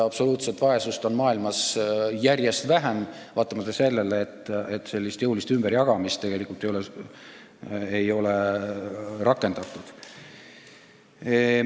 Absoluutset vaesust on maailmas järjest vähem, vaatamata sellele, et jõulist ümberjagamist tegelikult ei ole rakendatud.